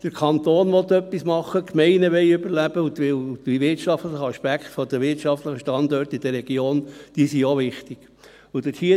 Der Kanton will etwas tun, die Gemeinden wollen überleben, weil die wirtschaftlichen Aspekte der Wirtschaftsstandorte in der Region auch wichtig sind.